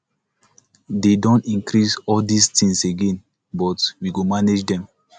they don increase all dis things again but we go manage dem